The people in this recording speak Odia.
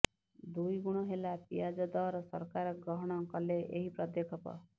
ଦୁଇଗୁଣ ହେଲା ପିଆଜ ଦର ସରକାର ଗ୍ରହଣ କଲେ ଏହି ପଦକ୍ଷେପ